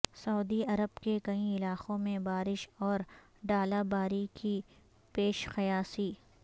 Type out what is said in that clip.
سعودی عرب کے کئی علاقوں میں بارش اور ڑالہ باری کی پیش قیاسی